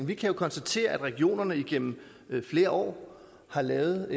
vi kan jo konstatere at regionerne igennem flere år har været